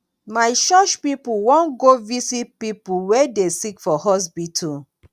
my church pipo wan go visit pipo wey dey sick for hospital.